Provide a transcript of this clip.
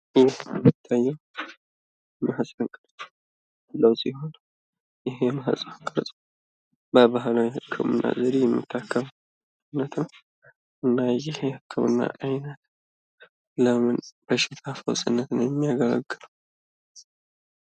ይህ የሚታዬን የማህፀን ቅርፅ ያለው ሲሆን ይህ የማህፀን ቅርፅ በባህላዊ የህክምና ዘዴ የሚታከምማለት ነው። እና ይሄ የእክምና አይነት ለምን በሽታ ፈውስነት ነው የሚያገለግለው?